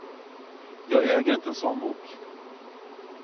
Jag äger inte en sådan bok.